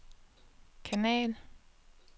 kanal